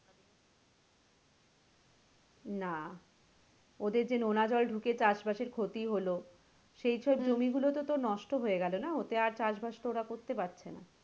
না ওদের যে নোনা জল ঢুকে চাষ বাসের যে ক্ষতি হলো সেই সব জমি গুলো তো তোর নষ্ট হয়ে গেলো না ওতে আর চাষ বাস তো ওরা আর করতে পারছে না।